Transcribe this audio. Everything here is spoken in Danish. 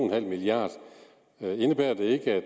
milliard kroner indebærer det ikke at